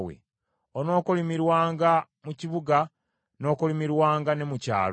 Onookolimirwanga mu kibuga n’okolimirwanga ne mu kyalo.